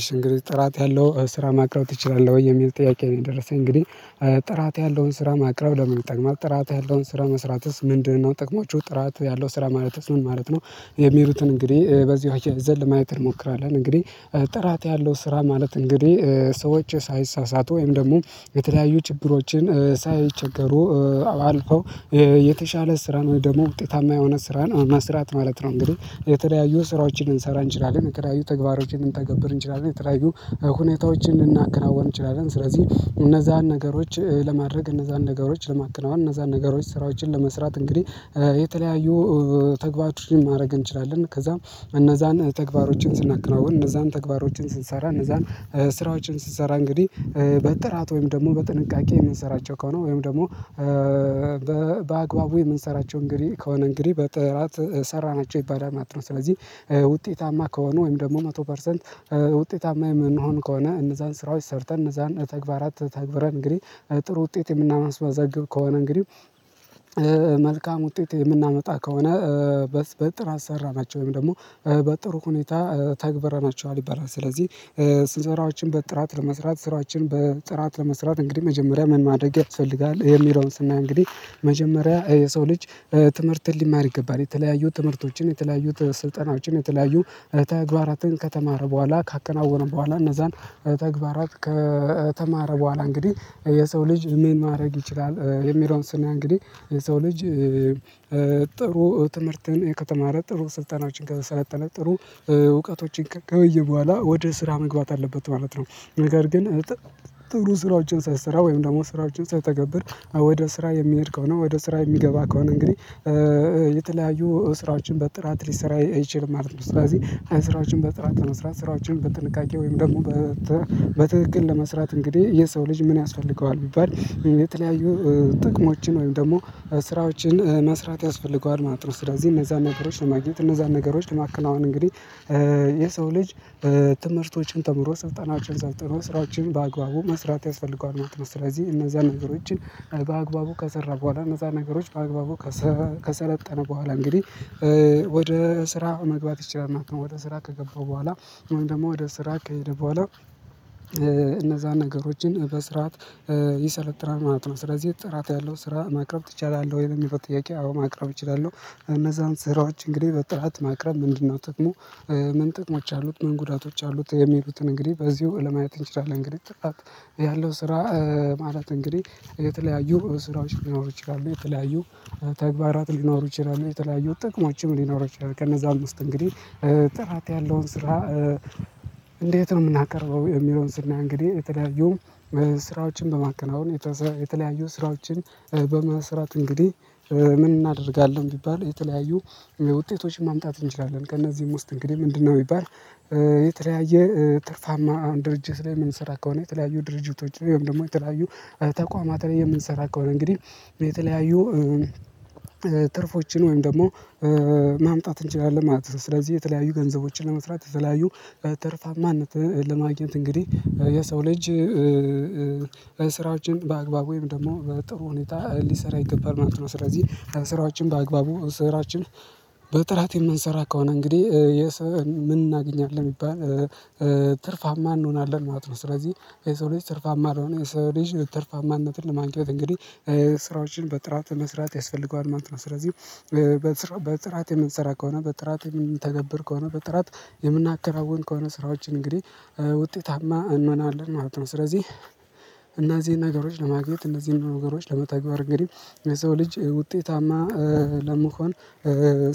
እሺ እንግዲህ ጥራት ያለው ስራ ማቅረብ ትችላለሁ ወይ የሚል ጥያቄ ነው የደረሰኝ እንግዲህ ጥራት ያለውን ስራ ማቅረብ ለመጠቀም አልጠቃም ጥራት ያለውን ስራ መስራትስ ምንድነው ጥቅሞቹ ጥራት ያለው ስራ ማለትስ ምን ማለት ነው? የሚሉትን እንግዲህ በዚህ አያይዘን ለማየት እንሞክራለን እንግዲህ ጥራት ያለው ስራ ማለት እንግዲህ ሰዎች ሳይሳሳት ወይም ደግሞ የተለያዩ ጭብሮችን ሳይቸገሩ አልፈው የተሻለ ስራን ወይ ደግሞ ውጤታማ የሆነ ስራን መስራት ማለት ነው። እንግዲህ የተለያዩ ስራዎችን ልንሰራ እንችላለን የተለያዩ ተግባሮችን ልንተገብር እንችላለን የተለያዩ ሁኔታዎችን ልናከናወን እንችላለን ስለዚህ እነዛን ነገሮች ለማድረግ እነዛን ነገሮች ለማከናወን እነዛን ነገሮች ስራዎችን ለመስራት እንግዲህ የተለያዩ ተግባራቾችን ማድረግ እንችላለን ከዛም እነዛን ተግባሮችን ስናከናወን እነዛን ተግባሮችን ስንሰራ እነዛን ስራዎችን ስንሰራ እንግዲህ በጥራት ወይም ደግሞ በጥንቃቄ የምንሰራቸው ከሆነ ወይም ደግሞ በአግባቡ የምንሰራቸው እንግዲህ ከሆነ እንግዲህ በጥራት ሰራናቸው ይባላል ማለት ነው። ስለዚህ ውጤታማ ከሆኑ ወይም ደግሞ መቶ ፐርሰንት ውጤታማ የምንሆን ከሆነ እነዛን ስራዎች ሰርተን እነዛን ተግባራት ተግብረን እንግዲህ ጥሩ ውጤት የምናስመዘግብ ከሆነ እንግዲህ መልካም ውጤት የምናመጣ ከሆነ በጥራት ሰራናቸው ወይም ደግሞ በጥሩ ሁኔታ ተግበረናቸዋል ይባላል ስለዚህ ሰራዎችን በጥራት ለመስራት ስራዎችን በጥራት ለመስራት እንግዲህ መጀመሪያ ምን ማድረግ ያስፈልጋል ይሄ የሚለውን ስናይ እንግዲህ መጀመሪያ የሰው ልጅ ትምህርትን ሊማር ይገባል የተለያዩ ትምህርቶችን የተለያዩ ስልጠናዎችን የተለያዩ ተግባራትን ከተማር በኋላ ካከናወነው በኋላ እነዛን ተግባራት ከተማረ በኋላ እንግዲህ የሰው ልጅ ምን ማድረግ ይችላል የሚለውን ስናይ እንግዲህ ሰው ልጅ ጥሩ ትምህርትን ከተማረ ጥሩ ስልጠናዎችን ከሰለጠነ ጥሩ እውቀቶችን ካየ በኋላ ወደ ስራ መግባት አለበት ማለት ነው። ነገር ግን ጥሩ ስራዎችን ሳይሰራ ወይም ደግሞ ስራዎችን ሳይተገብር ወደ ስራ የሚሄድ ከሆኔ ወደ ስራ የሚገባ ከሆነ እንግዲህ የተለያዩ ስራዎችን በጥራት ሊሰራ አይችልም ማለት ነው። ስለዚህ ስራዎችን በጥራት ለመስራት ስራዎችን በጥንቃቄ ወይም ደግሞ በትክክል ለመስራት እንግዲህ የሰው ልጅ ምን ያስፈልገዋል ቢባል የተለያዩ ጥቅሞችን ወይም ደግሞ ስራዎችን መስራት ያስፈልገዋል ማለት ነው። ስለዚህ እነዛ ነገሮች ለማግኘት እነዛ ነገሮች ለማከናወን እንግዲህ የሰው ልጅ ትምህርቶችን ተምሮ ስልጠናዎችን ሰልጥኖ ስራዎችን በአግባቡ መስራት ያስፈልገዋል ማለት ነው። ስለዚህ እነዛ ነገሮችን በአግባቡ ከሰራ በኋላ እነዛ ነገሮች በአግባቡ ከሰለጠነ በኋላ እንግዲህ ወደ ስራ መግባት ይችላልና ወደ ስራ ከገባው በኋላ ወይም ደግሞ ወደ ስራ ከሄደ በኋላ እነዛን ነገሮችን በስርዓት ይሰለጥናል ማለት ነው። ስለዚህ ጥራት ያለው ስራ ማቅረብ ትችላለህ ወይም ለሚለው ጥያቄ አዎ ማቅረብ እችላለሁ። እነዛን ስራዎች እንግዲህ በጥራት ማቅረብ ምንድነው ጥቅሙ? ምን ጥቅሞች አሉት ምን ጉዳቶች አሉት የሚሉትን እንግዲህ በዚሁ ለማየት እንችላለን። እንግዲህ ጥቃት ያለው ስራ ማለት እንግዲህ የተለያዩ ስራዎች ሊኖሩ ይችላሉ የተለያዩ ተግባራት ሊኖሩ ይችላሉ የተለያዩ ጥቅሞችም ሊኖሩ ይችላሉ ከነዛም ውስጥ እንግዲህ ጥራት ያለውን ስራ። እንዴት ነው የምናቀርበው የሚለውን ስናይ እንግዲህ የተዳጊው ስራዎችን በማከናወን የተለያዩ ስራዎችን በመስራት እንግዲህ ምን እናደርጋለን ቢባል የተለያዩ ውጤቶችን ማምጣት እንችላለን ከእነዚህም ውስጥ እንግዲህ ምንድነው ቢባል? የተለያየ ትርፋማ አሁን ድርጅት ላይ የምንሰራ ከሆነ የተለያዩ ድርጅቶች ወይም ደግሞ የተለያዩ ተቋማት ላይ የምንሰራ ከሆነ እንግዲህ የተለያዩ ትርፎችን ወይም ደግሞ ማምጣት እንችላለን ማለት ነው። ስለዚህ የተለያዩ ገንዘቦችን ለመስራት የተለያዩ ተርፋማነትን ለማግኘት እንግዲህ የሰው ልጅ ስራዎችን በአግባቡ ወይም ደግሞ በጥሩ ሁኔታ ሊሰራ ይገባል ማለት ነው ስለዚህ ስራዎችን በአግባቡ ስራዎችን በጥራት የምንሰራ ከሆነ እንግዲህ የሰው ምን እናገኛለን የሚባል ትርፋማ እንሆናለን ማለት ነው። ስለዚህ የሰው ልጅ ትርፋማ አልሆነ የሰው ልጅ ትርፋማነትን ለማንቀሳቀስ እንግዲህ ስራዎችን በጥራት መስራት ያስፈልገዋል ማለት ነው። ስለዚህ በጥራት የምንሰራ ከሆነ በጥራት የምንተገብር ከሆነ በጥራት የምናከናውን ከሆነ ስራዎች እንግዲህ ውጤታማ እንሆናለን ማለት ነው። ስለዚህ እነዚህን ነገሮች ለማግኘት እነዚህን ነገሮች ለመትገበር እንግዲህ የሰው ልጅ ውጤታማ ለመሆን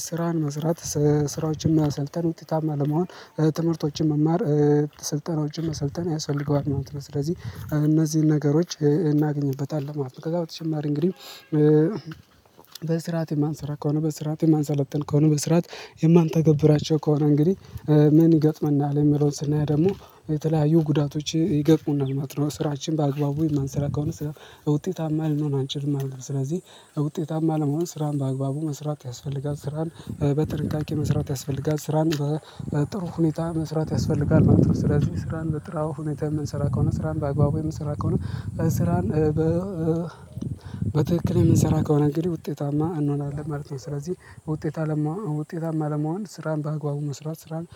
ስራን መስራት ስራዎችን መሰልጠን ውጤታማ ለመሆን ትምህርቶችን መማር ስልጠናዎችን መሰልጠን ያሰፈልገዋል ማለት ነው። ስለዚህ እነዚህን ነገሮች እናገኝበታለን ማለት ነው። ከዛ በተጨማሪ እንግዲህ በስርዓት የማንሰራ ከሆነ በስርዓት የማንሰለጥን ከሆነ በስርዓት የማንተገብራቸው ከሆነ እንግዲህ ምን ይገጥመናል የሚለውን ስናየው ደግሞ የተለያዩ ጉዳቶች ይገጥሙናል ማለት ነው። ስራችን በአግባቡ የማንሰራ ከሆነ ስራ ውጤታማ ልንሆን አንችልም ማለት ነው። ስለዚህ ውጤታማ ለመሆን ስራን በአግባቡ መስራት ያስፈልጋል ያስፈልጋል ስራን በጥንቃቄ መስራት ያስፈልጋል ስራን በጥሩ ሁኔታ መስራት ያስፈልጋል ማለት ነው። ስለዚህ ስራን በጥራው ሁኔታ የምንሰራ ከሆነ ስራን በአግባቡ የምንሰራ ከሆነ ስራን በ በትክክል የምንሰራው ከሆነ እንግዲህ ውጤታማ እንዋለን ማለት ነው። ስለዚህ ውጤታማ ውጤታማ ለመሆን ስራን በአግባቡ መስራት ስራን